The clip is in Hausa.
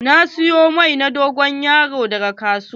Na siyo mai na dogon yaro daga kasuwa.